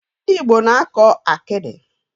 Ndị Igbo na-akọ akịdị.